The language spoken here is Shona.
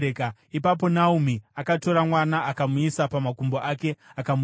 Ipapo Naomi akatora mwana, akamuisa pamakumbo ake akamurera.